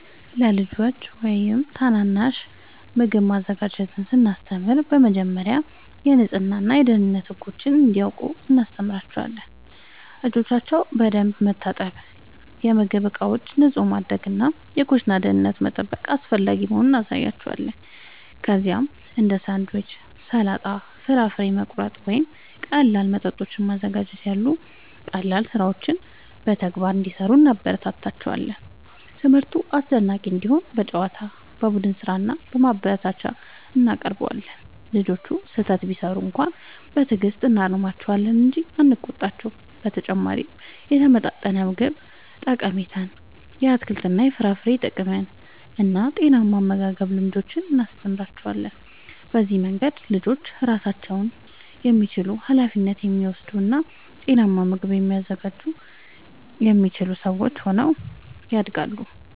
ለልጆች ወይም ታናናሾች ምግብ ማዘጋጀትን ስናስተምር በመጀመሪያ የንጽህና እና የደህንነት ህጎችን እንዲያውቁ እናስተምራቸዋለን። እጆቻቸውን በደንብ መታጠብ፣ የምግብ ዕቃዎችን ንጹህ ማድረግ እና የኩሽና ደህንነትን መጠበቅ አስፈላጊ መሆኑን እናሳያቸዋለን። ከዚያም እንደ ሳንድዊች፣ ሰላጣ፣ ፍራፍሬ መቁረጥ ወይም ቀላል መጠጦችን ማዘጋጀት ያሉ ቀላል ሥራዎችን በተግባር እንዲሠሩ እናበረታታቸዋለን። ትምህርቱ አስደሳች እንዲሆን በጨዋታ፣ በቡድን ሥራ እና በማበረታቻ እናቀርበዋለን። ልጆቹ ስህተት ቢሠሩ በትዕግሥት እናርማቸዋለን እንጂ አንቆጣቸውም። በተጨማሪም የተመጣጠነ ምግብ ጠቀሜታን፣ የአትክልትና የፍራፍሬ ጥቅምን እና ጤናማ የአመጋገብ ልምዶችን እናስተምራቸዋለን። በዚህ መንገድ ልጆች ራሳቸውን የሚችሉ፣ ኃላፊነት የሚወስዱ እና ጤናማ ምግብ ማዘጋጀት የሚችሉ ሰዎች ሆነው ያድጋሉ።